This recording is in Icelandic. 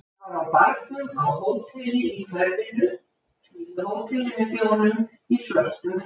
Það var á barnum á hóteli í hverfinu, fínu hóteli með þjónum í svörtum fötum.